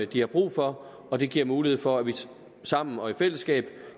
de har brug for og det giver mulighed for at vi sammen og i fællesskab